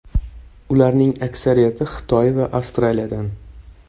Ularning aksariyati Xitoy va Avstraliyadan.